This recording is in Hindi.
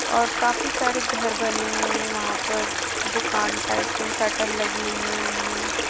और काफी सारे घर बने हुए है वहां पर दुकान टाइप से शटर लगी हुई है उनमे।